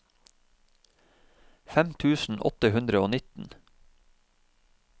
fem tusen åtte hundre og nitten